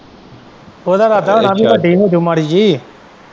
ਉਹਦਾ ਇਰਦਾ ਹੋਣਾ ਕੀ ਵੱਡੀ ਹੋਜੂ ਮਾੜੀ ਜਿਹੀ।